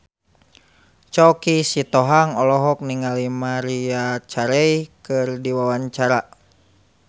Choky Sitohang olohok ningali Maria Carey keur diwawancara